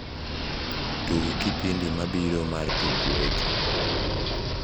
tug kipindi mabiro martuk weche